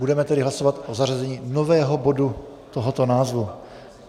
Budeme tedy hlasovat o zařazení nového bodu tohoto názvu.